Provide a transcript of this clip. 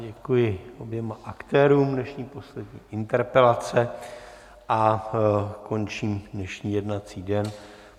Děkuji oběma aktérům dnešní poslední interpelace a končím dnešní jednací den.